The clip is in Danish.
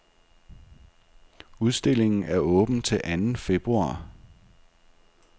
Udstillingen er åben til anden februar.